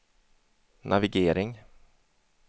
navigering